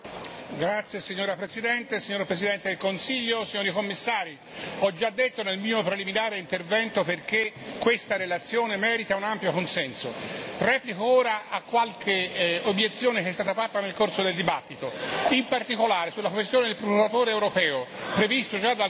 Signora Presidente, onorevoli colleghi, signor Presidente del Consiglio, signori Commissari, ho già detto nel mio intervento preliminare perché questa relazione merita un ampio consenso. Replico ora a qualche obiezione che è stata fatta nel corso del dibattito, in particolare sulla questione del Procuratore europeo, previsto già dal trattato